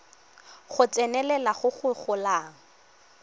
go tsenelela go go golang